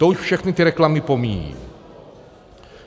To už všechny ty reklamy pomíjejí.